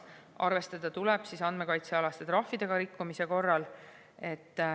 Arvestada tuleb andmekaitsealaste trahvidega rikkumise korral.